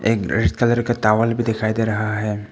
एक red colour का towel भी दिखाई दे रहा है।